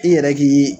I yɛrɛ k'i